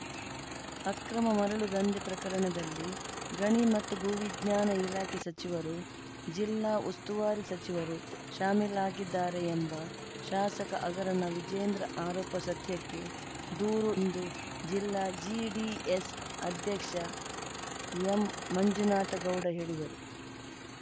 ಅಕ್ರಮ ಮರಳು ದಂಧೆ ಪ್ರಕರಣದಲ್ಲಿ ಗಣಿ ಮತ್ತು ಭೂ ವಿಜ್ಞಾನ ಇಲಾಖೆ ಸಚಿವರು ಜಿಲ್ಲಾ ಉಸ್ತುವಾರಿ ಸಚಿವರು ಶಾಮೀಲಾಗಿದ್ದಾರೆ ಎಂಬ ಶಾಸಕ ಆಗರನ ವಿಜೇಂದ್ರ ಆರೋಪ ಸತ್ಯಕ್ಕೆ ದೂರು ಎಂದು ಜಿಲ್ಲಾ ಜಿಡಿಎಸ್‌ ಅಧ್ಯಕ್ಷ ಎಂಮಂಜುನಾಥ ಗೌಡ ಹೇಳಿದರು